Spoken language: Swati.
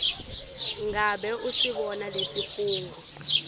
ngabe usibona lesifungo